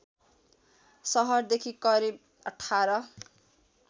सहरदेखि करिब १८